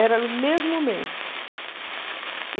Era no mesmo momento.